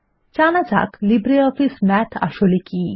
জানা যাক LibreOffice Math আসলে কী